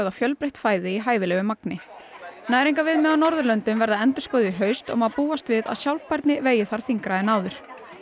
fjölbreytt fæði í hæfilegu magni á Norðurlöndum verða endurskoðuð í haust og má búast við að sjálfbærni vegi þar þyngra en áður